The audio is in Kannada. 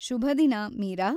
ಶುಭದಿನ, ಮೀರಾ.